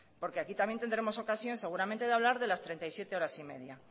porque aquí también tendremos ocasión seguramente de hablar de las treinta y siete horas y media